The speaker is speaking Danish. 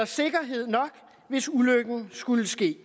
sikkerhed nok hvis ulykken skulle ske